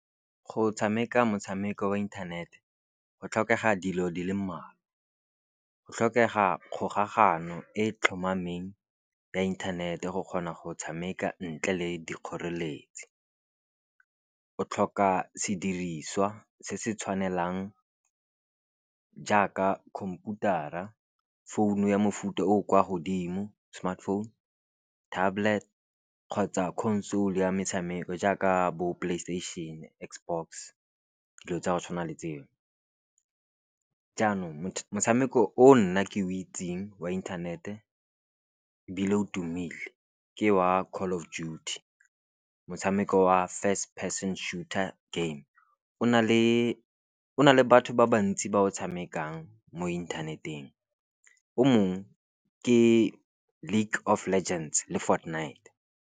Go tshameka motshameko wa inthanete go tlhokega dilo di le mmalwa go tlhokega kgogano e tlhomameng ya inthanete go kgona go tshameka ntle le dikgoreletsi, o tlhoka sediriswa se se tshwanelang jaaka computer-a phone ya mofuta o o kwa godimo smartphone tablet kgotsa console ya metshameko jaaka bo PlayStation, X-box dilo tsa go tshwana le tseo, jaanong motshameko o nna ke o itseng wa inthanete e bile o tumile ke wa Call of Duty motshameko wa First Persons Shooter Game o na le batho ba bantsi ba o tshamekang mo inthaneteng o mongwe ke League of Legends Ford Night.